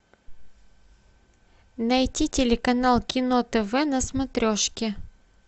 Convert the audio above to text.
найти телеканал кино тв на смотрешке